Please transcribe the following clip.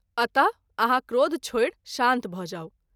अत: आहाँ क्रोध छोड़ि शान्त भ’ जाऊ।